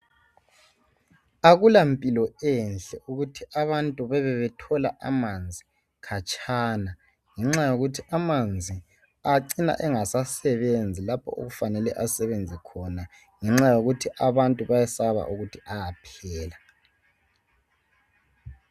Akulampilo enhle ukuthi abantu bebe bethola amanzi khatshana ngenxa yokuthi amanzi acina engasasebenzi lapho okufanele asebenze khona ngenxa yokuthi abantu bayesaba ukuthi amanzi ayaphela